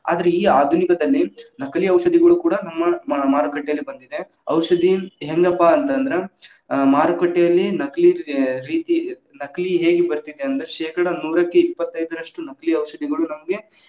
ಆದ್ರೆ ಈ ಆಧುನಿಕದಲ್ಲಿ, ನಕಲಿ ಔಷಧಿಗಳು ಕೂಡಾ ನಮ್ಮ ಮ~ ಮಾರುಕಟ್ಟೆಯಲ್ಲಿ ಬಂದಿದೆ. ಔಷಧಿ ಹೆಂಗಪ್ಪಾ ಅಂತ್‌ ಅಂದ್ರ ಆ ಮಾರುಕಟ್ಟೆಯಲ್ಲಿ ನಕಲಿ ಅ ರೀತಿ ನಕಲಿ ಹೇಗೆ ಬರ್ತಿದೆ ಅಂದ್ರ ಶೇಕಡಾ ನೂರಕ್ಕೆ ಇಪ್ಪತ್ತೈದರಷ್ಟು ನಕಲಿ ಔಷಧಿಗಳು ನಮ್ಗೆ.